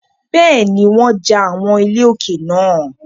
Bẹ́ẹ̀ni, wọ́n ja àwọn ilé olókè náà.